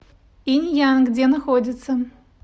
инь ян где находится